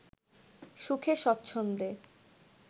সুখে স্বচ্ছন্দে